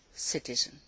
citizen.